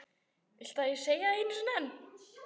Viltu að ég segi það einu sinni enn?